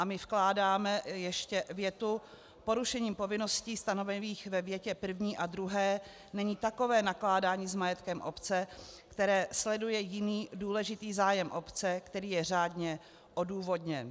A my vkládáme ještě větu: "Porušením povinností stanovených ve větě první a druhé není takové nakládání s majetkem obce, které sleduje jiný důležitý zájem obce, který je řádně odůvodněn."